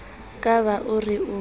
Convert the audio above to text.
ka ba o re o